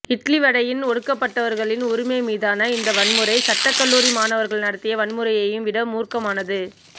இட்லிவடையின் ஒடுக்கப்பட்டவர்களின் உரிமை மீதான இந்த வன்முறை சட்டக்கல்லூரி மாணவர்கள் நடத்திய வன்முறையையும் விட மூர்க்கமானது